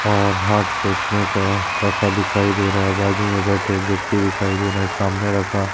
और हाथ पोछने का रखा दिखाई दे रहा है बाजू में बैठे एक व्यक्ति दिखाई दे रहे है सामने रखा--